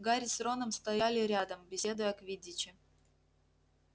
гарри с роном стояли рядом беседуя о квиддиче